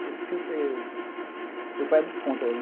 pai é muito contra.